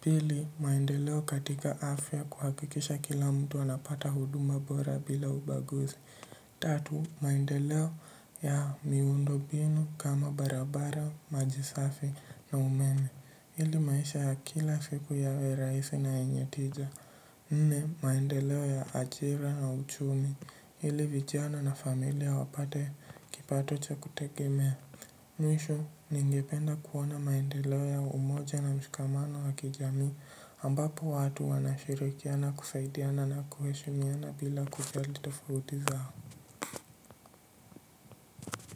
Pili, maendeleo katika afya kuhakikisha kila mtu anapata huduma bora bila ubaguzi. Tatu, maendeleo ya miundo mbinu kama barabara, maji safi na umene. Ili maisha ya kila siku yawe rahisi na yenye tija, nne maendeleo ya ajira na uchumi ili vijana na familia wapate kipato cha kutegemea. Mwisho, ningependa kuona maendeleo ya umoja na mshikamano wa kijamii. Ambapo watu wanashirikiana kusaidiana na kuheshimiana bila kujali tofauti zao.